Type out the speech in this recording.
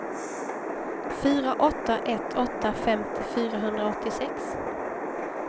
fyra åtta ett åtta femtio fyrahundraåttiosex